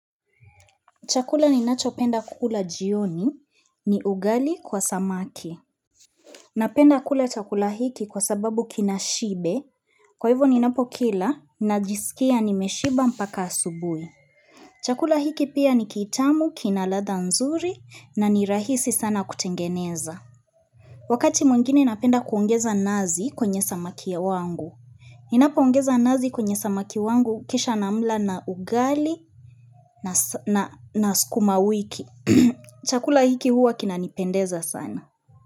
Chakula ni nacho penda kukula jioni ni ugali kwa samaki. Napenda kula chakula hiki kwa sababu kinashibe. Kwa hivyo ni napo kila na jisikia nimeshiba mpaka asubui. Chakula hiki pia ni kitamu, kina ladha nzuri na ni rahisi sana kutengeneza. Wakati mwengine napenda kuongeza nazi kwenye samaki ya wangu. Ninapoongeza nazi kwenye samaki wangu kisha namla na ugali na sukuma wiki. Chakula hiki huwa kina nipendeza sana.